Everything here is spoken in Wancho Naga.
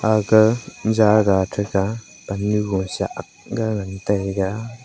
aga jagah thega pannu gosa aakga ngan tega.